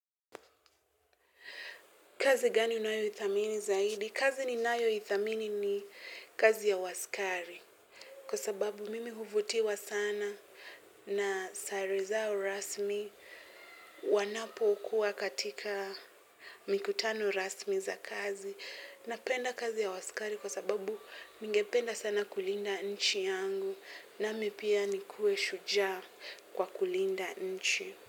Kazi gani unayoithamini zaidi? Kazi ninayoithamini ni kazi ya uaskari. Kwa sababu mimi huvutiwa sana na sare zao rasmi wanapokua katika mikutano rasmi za kazi. Napenda kazi ya uaskari kwa sababu ningependa sana kulinda nchi yangu nami pia nikuwe shujaa kwa kulinda nchi.